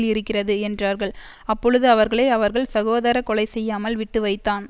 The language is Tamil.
இருக்கிறது என்றார்கள் அப்பொழுது அவர்களை அவர்கள் சகோதர கொலைசெய்யாமல் விட்டுவைத்தான்